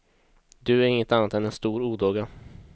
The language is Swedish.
Du är inget annat än en stor odåga.